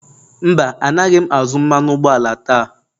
Mba, Anaghị m azụ mmanụ ụgbọala taa